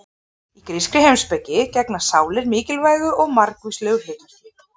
Í grískri heimspeki gegna sálir mikilvægu og margvíslegu hlutverki.